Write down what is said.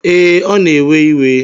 Ee, ọ na-ewe iwe.